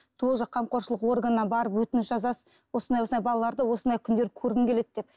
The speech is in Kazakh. то же қамқоршылық органына барып өтініш жазасыз осындай осындай балаларды осындай күндері көргім келеді деп